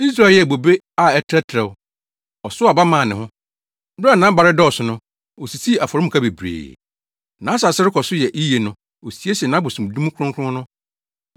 Israel yɛɛ bobe a ɛtrɛtrɛw; ɔsow aba maa ne ho. Bere a nʼaba redɔɔso no, osisii afɔremuka bebree; nʼasase rekɔ so yɛ yiye no osiesie nʼabosom dum kronkron no.